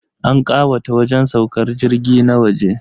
An kawata wajen saukar jirgi na waje.